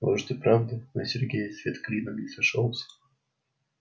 может и правда на сергее свет клином не сошёлся